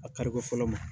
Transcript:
A kariko fɔlɔ ma